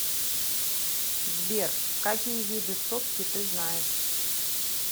сбер какие виды сотки ты знаешь